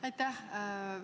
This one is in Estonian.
Aitäh!